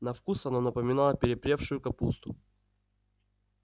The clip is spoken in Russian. на вкус оно напоминало перепревшую капусту